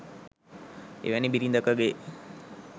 එවැනි බිරිඳකගේ